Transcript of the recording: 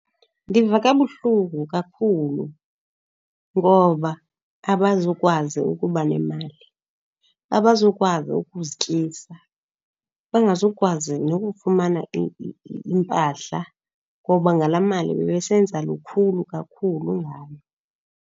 Ndiva kabuhlungu kakhulu ngoba abazukwazi ukuba nemali, abazukwazi ukuzityisa, bengazukwazi nokufumana iimpahla. Ngoba ngalaa mali bebesenza lukhulu kakhulu ngayo.